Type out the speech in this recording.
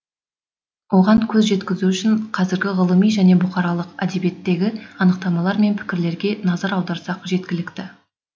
оған көз жеткізу үшін қазіргі ғылыми және бұқаралық әдебиеттегі анықтамалар мен пікірлерге назар аударсақ жеткілікті